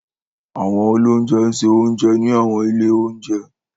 Àwọn oloúnjẹ ń ṣe oúnjẹ ní àwọn ilé oúnjẹ.